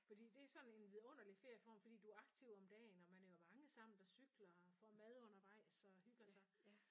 Fordi det er sådan en vidunderlig ferieform fordi du er aktiv om dagen og man er jo mange sammen der cykler og får mad undervejs og hygger sig